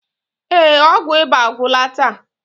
Ee, ọgwụ ịba agwụla taa.